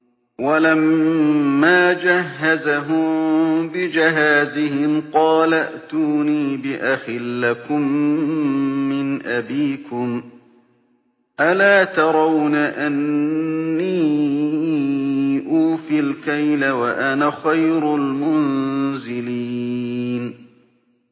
وَلَمَّا جَهَّزَهُم بِجَهَازِهِمْ قَالَ ائْتُونِي بِأَخٍ لَّكُم مِّنْ أَبِيكُمْ ۚ أَلَا تَرَوْنَ أَنِّي أُوفِي الْكَيْلَ وَأَنَا خَيْرُ الْمُنزِلِينَ